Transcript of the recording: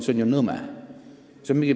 See on ju nõme!